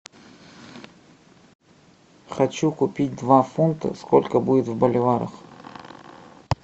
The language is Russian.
хочу купить два фунта сколько будет в боливарах